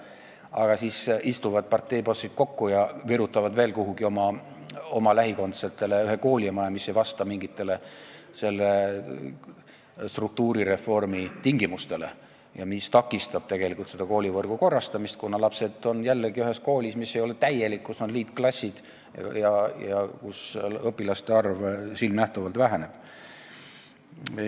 Aga parteibossid istuvad kokku ja virutavad oma lähikondsetele veel kuhugi ühe koolimaja, mis ei vasta mingitele struktuurireformi tingimustele ja mis tegelikult takistab koolivõrgu korrastamist: lapsed on jälle ühes koolis, mis ei ole täielik, kus on liitklassid ja kus õpilaste arv silmanähtavalt väheneb.